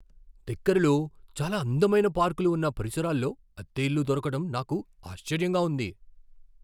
దగ్గరలో చాలా అందమైన పార్కులు ఉన్న పరిసరాల్లో అద్దె ఇల్లు దొరకడం నాకు ఆశ్చర్యంగా ఉంది.